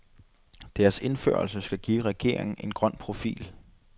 Deres indførelse skal give regeringen en grøn profil.